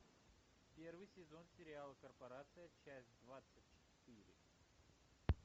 первый сезон сериала корпорация часть двадцать четыре